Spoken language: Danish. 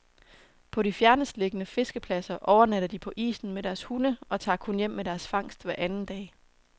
På de fjernestliggende fiskepladser overnatter de på isen med deres hunde og tager kun hjem med deres fangst hver anden dag.